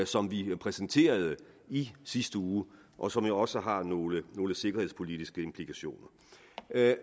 som vi præsenterede i sidste uge og som jo også har nogle nogle sikkerhedspolitiske implikationer